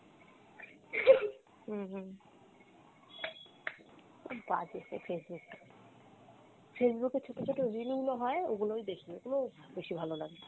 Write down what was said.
হুম হুম, খুব বাজে এই Facebook টা, Facebook এ ছোটো ছোটো reel গুলো হয় ওগুলোই দেখি, ওগুলো বেশি ভালো লাগে।